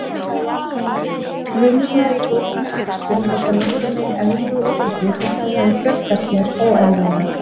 Frumurnar í góðkynja æxlum halda nokkurn veginn eðlilegu útliti þótt þær hafi fjölgað sér óeðlilega.